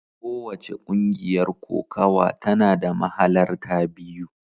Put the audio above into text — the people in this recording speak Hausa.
Kowace ƙungiyar kokawa tana da mahalarta biyu.